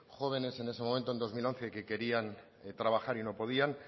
jóvenes en ese momento en dos mil once que querían trabajar y no podían